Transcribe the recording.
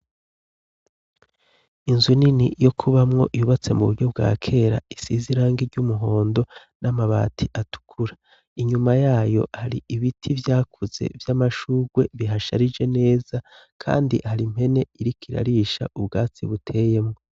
Inzu nini yo kubamwo yubatse mu buryo bwa kera isize irangi ry'umuhondo n'amabati atukura, inyuma yayo hari ibiti vyakuze vy'amashurwe bihasharije neza kandi hari impene iriko irarisha ubwatsi buteyemwo.